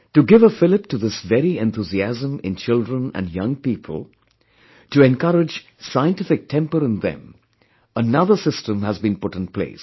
To give a fillip to this very enthusiasm in children & young people; to encourage scientific temper in them, another system has been put in place